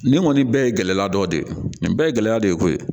Nin kɔni bɛɛ ye gɛlɛya dɔ de ye nin bɛɛ ye gɛlɛya dɔ de ye koyi